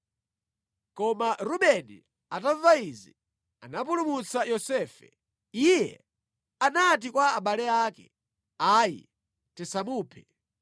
Koma Rubeni atamva izi, anapulumutsa Yosefe. Iye anati kwa abale ake, “Ayi, tisamuphe,